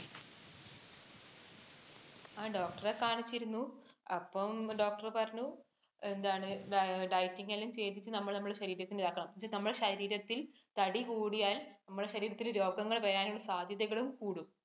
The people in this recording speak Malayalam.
ആ doctor ഇനെ കാണിച്ചിരുന്നു. അപ്പം doctor പറഞ്ഞു, എന്താണ് dieting എല്ലാം ചെയ്തിട്ട് നമ്മൾ നമ്മുടെ ശരീരത്തിനെ . പക്ഷെ നമ്മുടെ ശരീരത്തിൽ തടി കൂടിയാൽ, നമ്മുടെ ശരീരത്തിൽ രോഗങ്ങൾ വരാനുള്ള സാധ്യതകളും കൂടും.